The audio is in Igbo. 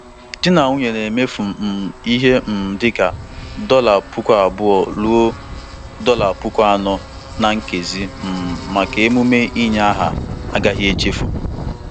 Ọnụ ego nnabata nnabata di na nwunye ahụ lụrụ ọhụrụ gafere ihe karịrị mmefu ego mbụ ha nwetara na $10,000.